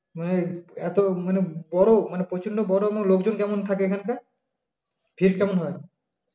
এত মানে বড় মানে প্রচুর লোক বড় লোকজন কেমন থাকে এখানটায় ভীড় কেমন হয়